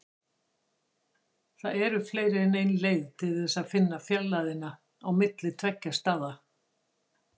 Það eru fleiri en ein leið til þess að finna fjarlægðina á milli tveggja staða.